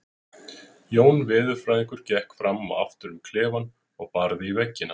Jón veðurfræðingur gekk fram og aftur um klefann og barði í veggina.